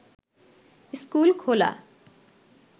school খোলা